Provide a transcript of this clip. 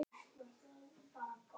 Það dugar ekki ein!